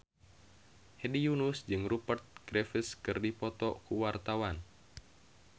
Hedi Yunus jeung Rupert Graves keur dipoto ku wartawan